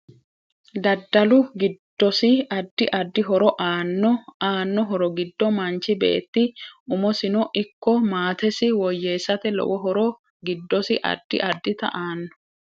Dadalu giddosi addi addi horo aanno aanno horo giddo manchi beeti umosino ikko maatesi woyeesate lowo horo giddosi addi addita aanno